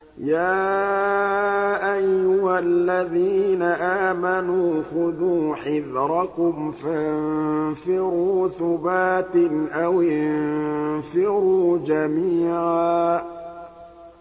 يَا أَيُّهَا الَّذِينَ آمَنُوا خُذُوا حِذْرَكُمْ فَانفِرُوا ثُبَاتٍ أَوِ انفِرُوا جَمِيعًا